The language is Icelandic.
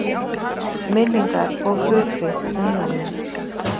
Minningar og hughrif um jólin